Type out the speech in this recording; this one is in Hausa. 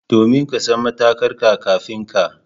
Domin ka san matarka kafin ka.